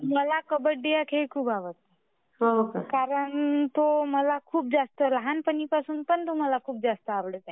मला कबड्डी हा खेळ खूप आवडतो. हा कारण तो मला खूप जास्त लहानपणीपासून पण तो खूप जास्त आवडते.